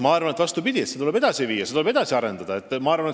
Ma arvan vastupidist, et ETV+ tuleb edasi viia, seda tuleb edasi arendada.